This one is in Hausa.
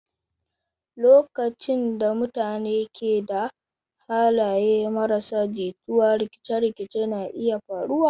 Lokacin da mutane ke da halaye marasa jituwa, rikice-rikice na iya faruwa.